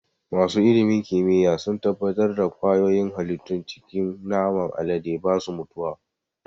Masu ilimin kimiyya sun tabbatar da ƙwayoyin halittun cikin naman alade ba su mutuwa.